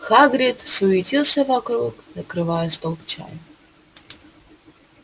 хагрид суетился вокруг накрывая стол к чаю